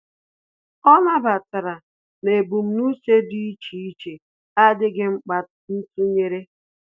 Ọ́ nàbàtàrà na ebumnuche dị́ iche iche ádị́ghị́ mkpa ntụnyere.